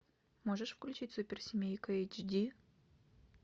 можешь включить суперсемейка эйч ди